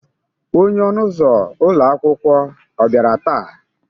onye ọnụ ụzọ ụlọ akwụkwọ ọ bịara taa?